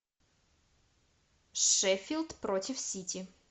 шеффилд против сити